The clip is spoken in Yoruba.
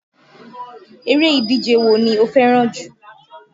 Eré ìdíje wo ni o fẹ́ràn jù?